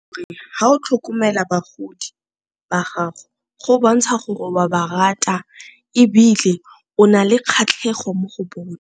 Ga o tlhokomela bagodi ba gago go bontsha gore wa ba rata ebile o na le kgatlhego mo go .